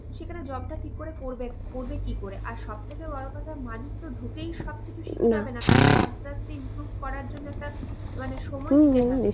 সেখানে job টা কি করে করবে? করবে কি করে? আর সব থেকে বড়ো কথা মানুষতো ঢুকেই সব কিছু শিখতে তাকে তো আস্তে আস্তে improve করার জন্য একটা সময়